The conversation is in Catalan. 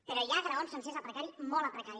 però hi ha graons sencers a precari molt a precari